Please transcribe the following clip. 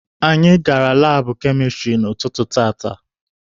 Anyị gara laabụ kemịstrị n'ụtụtụ tata.